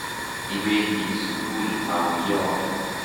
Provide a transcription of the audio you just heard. Iwendi sukul au yo?